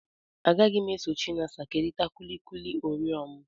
Agaghị m eso Chinasa kerịta kuki oreo m.